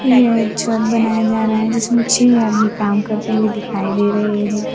यह एक छत बनाया जा रहा है जिसमें छे आदमी काम करते हुए दिखाई दे रहे है।